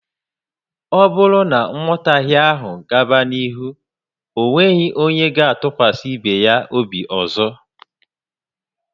O bụrụ na nghotahe áhù gaba n'ihu, onweghi onye ga tukwasi ibe ya obi ọzọ